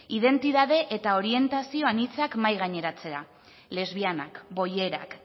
identitatea eta orientazio anitzak mahai gaineratzea lesbianak bollerak